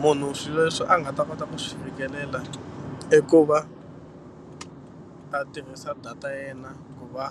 Munhu swilo leswi a nga ta kota ku swi fikelela i ku va a tirhisa data ya yena ku va